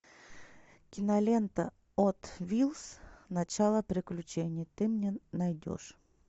кинолента хот вилс начало приключений ты мне найдешь